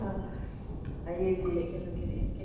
Ãh, aí ele... Por que que ele não queria?